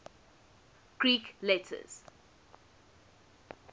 greek letters